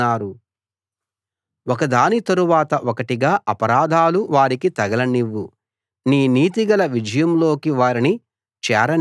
ఒకదాని తరవాత ఒకటిగా అపరాధాలు వారికి తగలనివ్వు నీ నీతిగల విజయంలోకి వారిని చేరనివ్వకు